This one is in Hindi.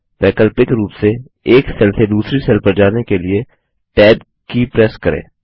वैकल्पिक रूप से एक सेल से दूसरी सेल पर जाने के लिए टैब की प्रेस करें